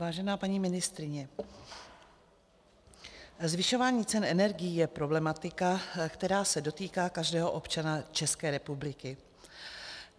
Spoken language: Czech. Vážená paní ministryně, zvyšování cen energií je problematika, která se dotýká každého občana České republiky.